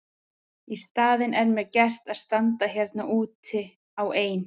Í staðinn er mér gert að standa hérna úti á ein